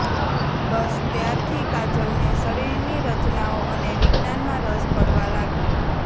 બસ ત્યારથી કાજલને શરીરની રચનાઓ અને વિજ્ઞાાનમાં રસ પડવા લાગ્યો